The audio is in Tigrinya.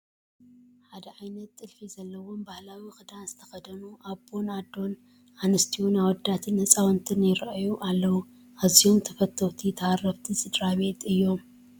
ሓደ ዓይነት ጥልፊ ዘለዎ ባህላዊ ክዳን ዝተኸደኑ ኣቦ፣ ኣዶን ኣንስትዮን ኣወዳትን ህፃውንቲ ይርአዩ ኣለዉ፡፡ ኣዝዮም ተፈተውቲ ተሃረፍቲ ስድራ ቤት እዮም፡፡